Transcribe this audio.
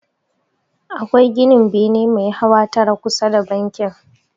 Akwai ginin bene mai hawa tara kusa da bankin.